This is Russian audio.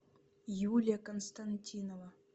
юлия константинова